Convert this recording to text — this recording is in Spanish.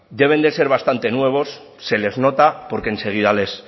deben de ser bastante nuevos se les nota porque enseguida les